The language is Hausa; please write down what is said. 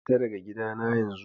Fita daga gidana yanzu!